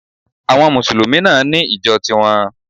Àwon mùsùlùmí náà ní ìjo ti won